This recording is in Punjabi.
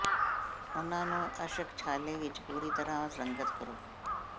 ਉਨ੍ਹਾਂ ਨੂੰ ਅੰਸ਼ਕ ਛਾਲੇ ਵਿਚ ਪੂਰੀ ਤਰ੍ਹਾਂ ਰੰਗਤ ਕਰੋ